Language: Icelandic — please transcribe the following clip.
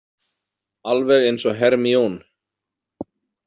Alveg eins og Hermione.